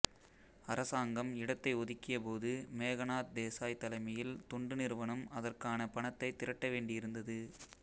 அரசாங்கம் இடத்தை ஒதுக்கியபோது மேகநாத் தேசாய் தலைமையில் தொண்டு நிறுவனம் அதற்கான பணத்தை திரட்ட வேண்டியிருந்தது